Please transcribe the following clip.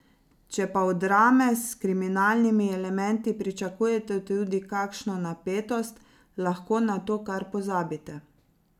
Če pa od drame s kriminalnimi elementi pričakujete tudi kakšno napetost, lahko na to kar pozabite.